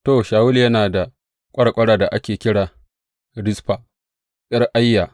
To, Shawulu yana da ƙwarƙwarar da ake kira Rizfa, ’yar Aiya.